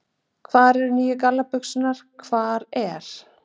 Hvar eru nýju gallabuxurnar, hvar er.